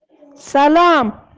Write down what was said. салам